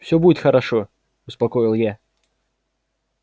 все будет хорошо успокоил я